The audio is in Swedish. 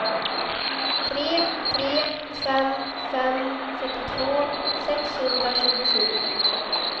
tre tre fem fem fyrtiotvå sexhundratjugosju